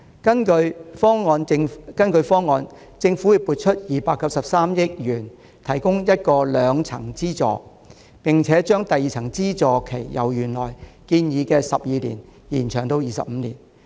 根據方案，政府將會撥出293億元提供兩層資助，並會把第二層資助期由原來建議的12年延長至25年。